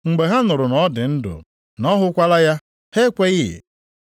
Mgbe ha nụrụ na ọ dị ndụ, na ọ hụkwala ya, ha ekweghị.